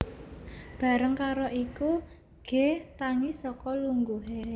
Bareng karo iku G tangi saka lungguhe